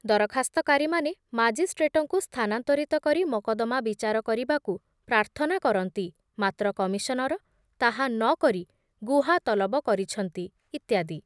ଦରଖାସ୍ତକାରୀମାନେ ମାଜିଷ୍ଟ୍ରେଟଙ୍କୁ ସ୍ଥାନାନ୍ତରିତ କରି ମକଦ୍ଦମା ବିଚାର କରିବାକୁ ପ୍ରାର୍ଥନା କରନ୍ତି, ମାତ୍ର କମିଶନର ତାହା ନ କରି ଗୁହା ତଲବ କରିଛନ୍ତି, ଇତ୍ୟାଦି ।